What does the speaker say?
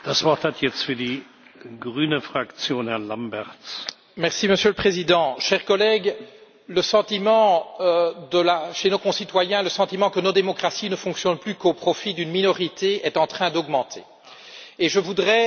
Monsieur le Président, chers collègues, chez nos concitoyens, le sentiment que nos démocraties ne fonctionnent plus qu'au profit d'une minorité est en train de croître, et je voudrais attirer notre attention à tous sur le fait que, dix jours après